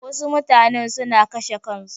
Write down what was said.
Wasu mutanen suna kashe kansu.